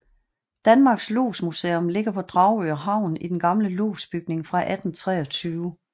Danmarks Lodsmuseum ligger på Dragør Havn i den gamle lodsbygning fra 1823